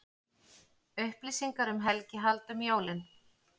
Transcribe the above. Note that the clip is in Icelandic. Upplýsingar um helgihald um jólin